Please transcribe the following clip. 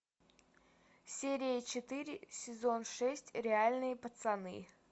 серия четыре сезон шесть реальные пацаны